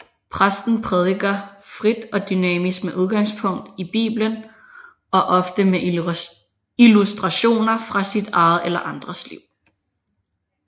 Præsten prædiker frit og dynamisk med udgangspunkt i bibelen og ofte med illustrationer fra sit eget eller andres liv